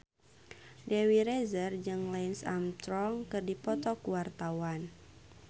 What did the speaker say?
Dewi Rezer jeung Lance Armstrong keur dipoto ku wartawan